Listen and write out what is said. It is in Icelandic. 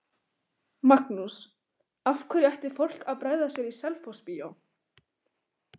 Magnús: Af hverju ætti fólk að bregða sér í Selfossbíó?